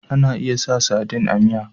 Ana iya sa sadin a miya